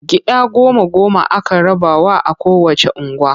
Gida goma-goma aka rabawa a kowacce unguwa.